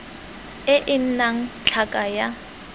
e e nnang tlhaka ya